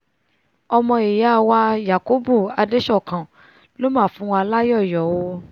ọmọ ìyá wa yakubu adesokan ló mà fúnwa láyọ̀ o